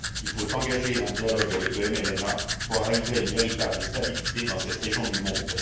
Il faut engager un dialogue avec le MLNA pour arriver à une véritable stabilité dans cette région du monde.